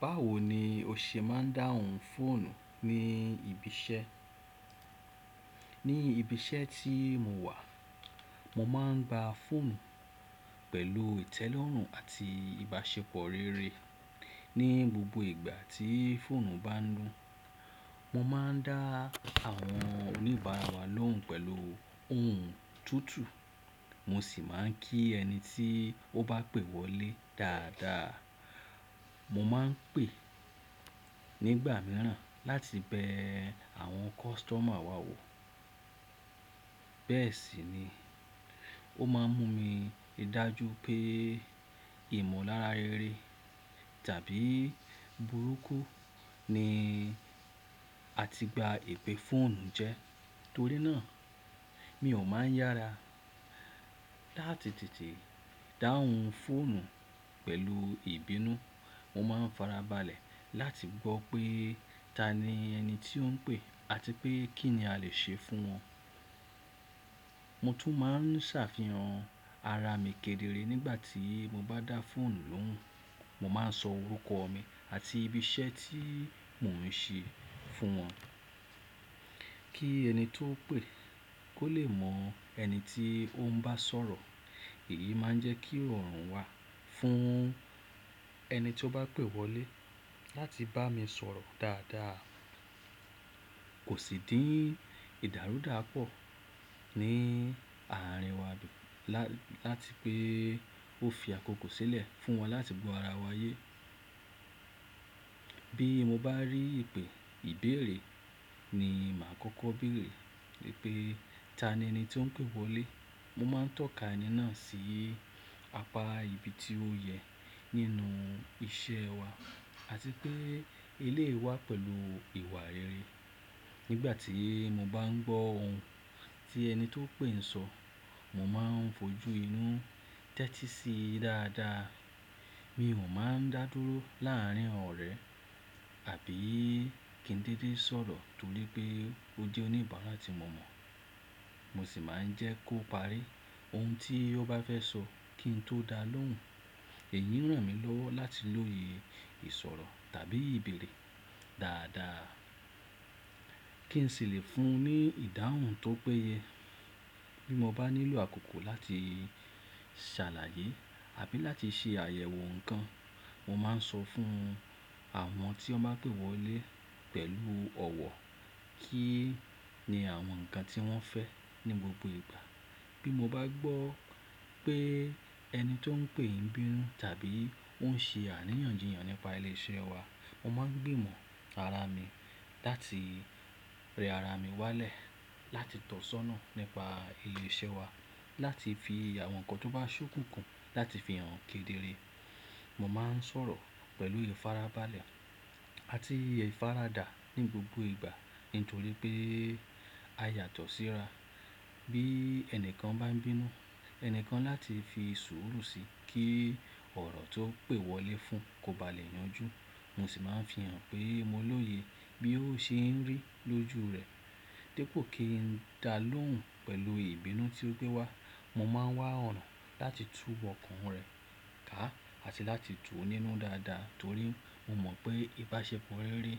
Báwo ni o ṣe máa ń dáhùn fóònù ní ibi iṣẹ́? Ní ibi iṣẹ́ tí mo wà, mo máa ń gba fóònù pẹ̀lú ìtẹ́lọ́rùn àti ìbáṣepọ̀ rere. Ni gbogbo ìgbà tí fóònù bá ń nu, mo máa ń dá àwọn oníbàárà wa lóhùn pẹ̀lú ohùn tútù, mo sì máa ń kí ẹni tí ó bá pè wọlé dáadáa. Mo máa ń pè nígbà mìíràn láti bẹ àwọn kọ́sítọ́mà wa wò. Bẹ́ẹ̀ sì ni, ó máa ń mú mi dájú pé ìmọ̀lára rere tàbí burúkú ni a ti gba ìpè fóònù jẹ́. Torí náà, mi ò máa ń yára láti tètè dáhùn fóònù pẹ̀lù ìbínú. Mo máa ń farabalẹ̀ láti gbọ́ pé ta ni ẹni tí ó ń pè àti pé kí ni a lè ṣe fún wọn. Mo tún máa ń ṣàfihàn ara mi kedere nígbà tí mo bá dá fóònù lóhùn. Mo máa ń sọ orúkọ mi àti ibi iṣẹ́ tí mò ń ṣe fún wọn kí ẹni tó pè kó lè mọ ẹni tí ó ń bá sọ̀rọ̀. Èyí máa ń jẹ́ kí ọ̀ràn wà fún ẹni tí ó bá pè wọlé láti bá mi sọ̀rọ̀ dáadáa. Kò sì dí ìdárúdà pọ̀ ní àárín wa láti pé ó fi àkókò sílẹ̀ fún wọn láti gbọ́ ara wa yé. Bí mo bá rí ìpè ìbéèrè ni màá kọ́kọ́ bèèrè pé ta ni ẹni tí ó ń pè wọlé. Mo máa ń tọ̀ka ẹni náà sí apá ibi tí ó yẹ nínú iṣẹ́ wa àti pé ilé wà pẹ̀lú ìwà rere. Nígbà tí mo bá ń gbọ́ ohun tí ẹni tó pè ń sọ, mo máa ń fojú inú tẹ́tí sí i dáadáa. Mi ò máa ń dá dúró láàrín ọ̀rẹ́ àbí kí n dédé sọ̀rọ̀ torí pé ó jẹ́ oníbàárà tí mo mọ̀. Mo sì máa ń jẹ́ kó parí ohun tí ó bá fẹ́ sọ kí n tó dá lóhùn. Èyí ń ràn mí lọ́wọ́ láti lóye ìsọ̀rọ̀ tàbí ìbéèrè dáadáa kí n sì lè fún un ní ìdáhùn tó péye. Bí mo bá nílò àkókò láti ṣàlàyé àbí láti ṣe àyẹ̀wò nǹkan, mo máa ń sọ fún àwọn tí wọ́n bá pè wọlé pẹ̀lú ọ̀wọ̀ kí ni àwọn nǹkan tí wọ́n fẹ́ ní gbogbo ìgbà. Bí mo bá gbọ́ pé ẹni tí ó ń pè yìí ń bínú tàbí ó ń ṣe àríyànjìyàn nípa ilé iṣẹ́ wa, mo máa ń gbìmọ̀ ara mi láti rẹ ara mi wálẹ̀ láti tọ̀ sọ́nà nípa ilé iṣẹ́ wa, láti fi àwọn nǹkan tó bá ṣókùnkùn láti fi hàn kedere. Mo máa ń sọ̀rọ̀ pẹ̀lú ìfarabalẹ̀ àti ìfaradà ní gbogbo ìgbà nítorí pé a yàtọ̀ síra. Bí ẹni kan bá ń bínú, ẹni kan láti fi sùúrù sí i kí ọ̀rọ̀ tó pè wọlé fún kó ba lè yanjú. Mo sì máa ń fi hàn pé mo lóye bí ó ṣe ń rí lójú rẹ̀. Dẹ́ pó kí n dá lóhùn pẹ̀lú ìbínú tí ó gbé wá, mo máa ń wá ọ̀rọ̀ láti túbọ̀ kàn rẹ̀ ká àti láti tú un nínú dáadáa torí mo mọ̀ pé ìbáṣepọ̀ rere